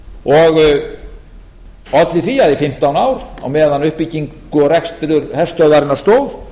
og olli því að í fimmtán ár á meðan á uppbyggingu og rekstri herstöðvarinnar stóð